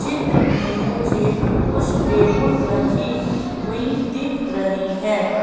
चित्र में मुझे कुछ टेबुल रखी हुई दिख रही है।